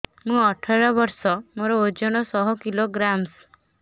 ମୁଁ ଅଠର ବର୍ଷ ମୋର ଓଜନ ଶହ କିଲୋଗ୍ରାମସ